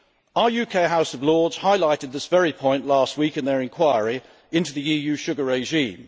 Our UK House of Lords highlighted this very point last week in their enquiry into the EU sugar regime.